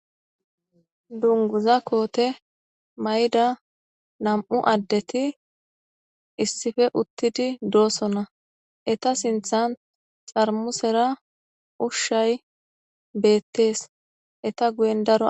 dunguza koote may7da nam7u addeti issife uttidi doosona eta sinthan xarmusera ushshay beettees eta guyen daro